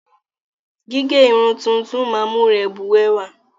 Gígẹ́ irun tuntun máa ń mú rẹ bùrẹ́wà.